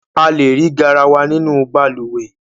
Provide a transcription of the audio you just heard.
A le rí garawa nínú balùwẹ́